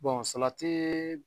salatii